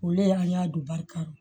O le y'an y'a don barika ra